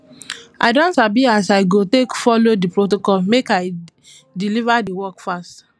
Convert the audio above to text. i don sabi as i go take folo di protocol make i deliver di work fast